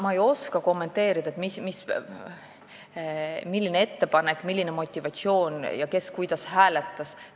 Ma ei oska kommenteerida, milline oli ettepanek, milline oli motivatsioon ja kes kuidas hääletas.